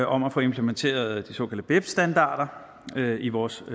om at få implementeret de såkaldte beps standarder i vores